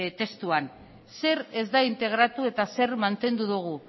testuan zer ez da integratu eta zer mantendu dugu